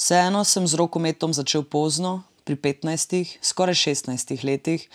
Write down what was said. Vseeno sem z rokometom začel pozno, pri petnajstih, skoraj šestnajstih letih,